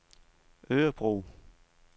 Örebro